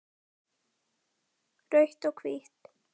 Rautt og hvítt